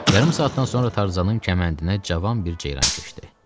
Yarım saatdan sonra Tarzanın kəməndinə cavan bir ceyran keçdi.